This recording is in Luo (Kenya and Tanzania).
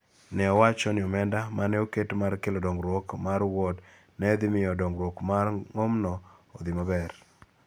nowacho ni omenda ma ne oket mar keto dongruok mar Wuod ne dhi miyo dongruok mar ng�omno odhi maber.